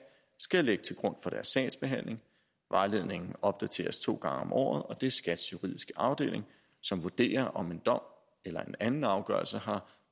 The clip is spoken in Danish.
skal lægge til grund for deres sagsbehandling vejledningen opdateres to gange om året og det er skats juridiske afdeling som vurderer om en dom eller en anden afgørelse har